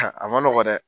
a ma nɔgɔn dɛ